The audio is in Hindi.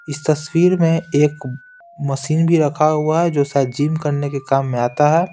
इस तस्वीर में एक मशीन भी रखा हुआ है जो शायद जिम करने के काम में आता है।